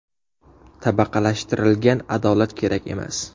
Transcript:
Tabaqalashtirilgan adolat kerak emas.